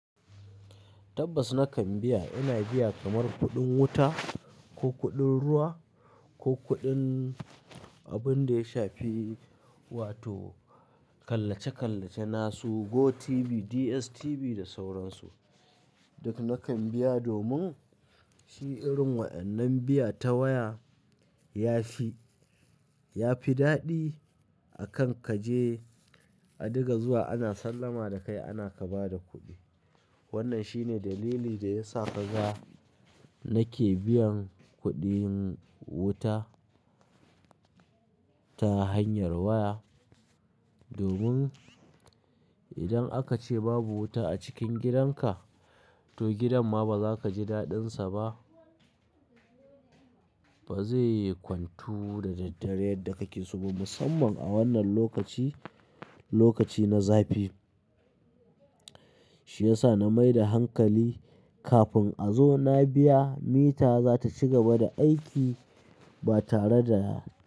Tabbas nakan biya. Ina biya kamar kuɗin wuta ko kuɗin ruwa ko kuɗin abun da ya shafi, wato kallace-kallace na su GoTv, DSTV da sauransu. Duk nakan biya domin shi irin waɗannan biya ta waya ya fi, ya fi daɗi akan kaje a diga zuwa ana sallama da kai ana ka ba da kuɗi. Wannan shine dalili da ya sa kaga nake biyan kuɗin wuta ta hanyar waya. Domin idan aka ce babu wuta a cikin gidanka, to gidan ma ba za ka ji daɗinsa ba. Ba zai yi kwantu da daddare yadda kake so ba. Musamman a wannan lokaci, lokaci na zafi. Shi ya sa na mai da hankali kafin a zo na biya mita za ta ci gaba da aiki ba tare da.